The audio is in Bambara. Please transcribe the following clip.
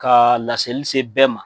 Ka laselise bɛɛ ma.